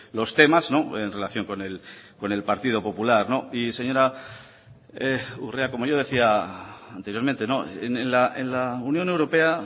los temas en relación con el partido popular y señora urrea como yo decía anteriormente en la unión europea